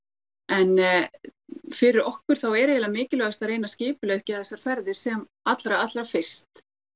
en fyrir okkur þá er eiginlega mikilvægast að reyna að skipuleggja þessar ferðir sem allra allra fyrst